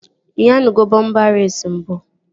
Ị nyanugo bọmpa reesi mbụ?